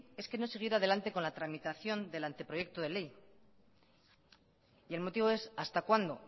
le pedí es que no siguiera adelante con la tramitación del anteproyecto de ley y el motivo es hasta cuándo